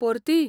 परती?